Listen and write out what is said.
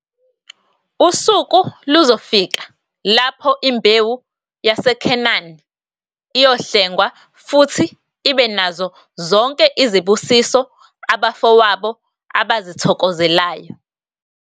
Usuku luzofika lapho imbewu yaseKhanani iyohlengwa futhi ibe nazo zonke izibusiso abafowabo abazithokozelayo.